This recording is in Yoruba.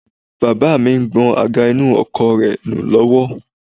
Baba mi ń gbọn àga inú ọkọ̀ rẹ nù lọ́wọ́